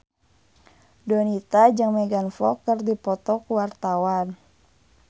Donita jeung Megan Fox keur dipoto ku wartawan